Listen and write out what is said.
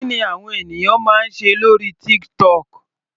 Kí ni àwọn ènìyàn máa ń ṣe lórí TikTok.